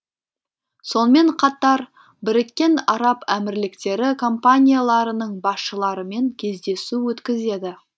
сонымен қатар біріккен араб әмірліктері компанияларының басшыларымен кездесу өткізеді